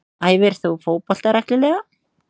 Æfir þú fótbolta reglulega?